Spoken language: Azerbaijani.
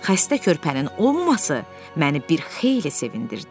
Xəstə körpənin olmaması məni bir xeyli sevindirdi.